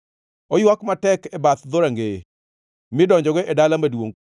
Oywak matek e bath dhorangeye midonjogo e dala maduongʼ,